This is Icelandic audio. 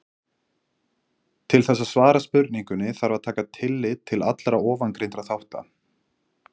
Til þess að svara spurningunni þarf að taka tillit til allra ofangreindra þátta.